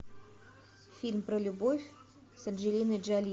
фильм про любовь с анджелиной джоли